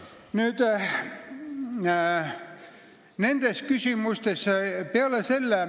Palun!